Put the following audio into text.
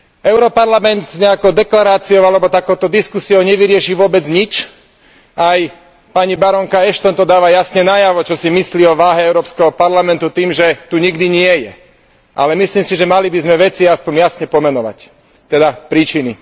Europarlament s nejakou deklaráciou alebo takouto diskusiou nevyrieši vôbec nič a aj pani barónka Ashton to dáva jasne najavo, čo si myslí o váhe Európskeho parlamentu tým, že tu nikdy nie je, ale myslím si, že by sme mali veci aspoň jasne pomenovať, teda príčiny.